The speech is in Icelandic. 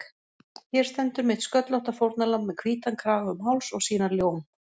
Hér stendur mitt sköllótta fórnarlamb með hvítan kraga um háls og sína ljóm